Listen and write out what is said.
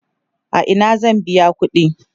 a Ina zan biya ƙuɗi?